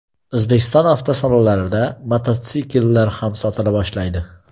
O‘zbekiston avtosalonlarida mototsikllar ham sotila boshlaydi.